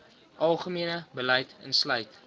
algemene beleid insluit